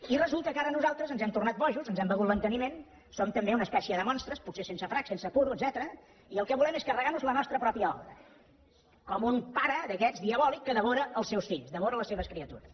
i resulta que ara nosaltres ens hem tornat bojos ens hem begut l’enteniment som també una espècie de monstres potser sense frac sense puro etcètera i el que volem és carregar nos la nostra pròpia obra com un pare d’aquests diabòlics que devora els seus fills devora les seves criatures